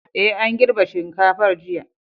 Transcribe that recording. Ee, an girbe shinkafar jiya.